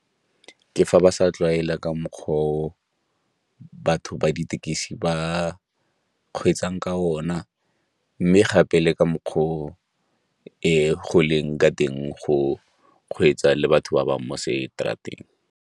Ke fa ba sa tlwaela ka mokgwa o batho ba ditekisi ba kgweetsang ka ona mme gape le ka mokgwa o go leng ka teng go kgweetsa le batho ba bangwe mo seterateng.